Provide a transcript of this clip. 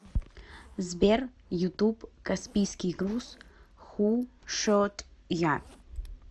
сбер ютуб каспийский груз ху шот я